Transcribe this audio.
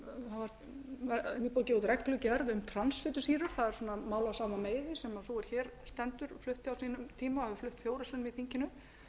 meiði sem sú er hér stendur flutti á sínum tíma hefur flutt fjórum sinnum í þinginu